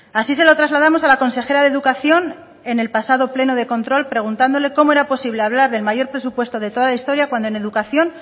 así se lo trasladamos a la consejera de educación en el pasado pleno de control preguntándole cómo era posible hablar del mayor presupuesto de toda la historia cuando en educación